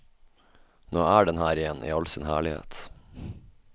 Nå er den her igjen i all sin herlighet.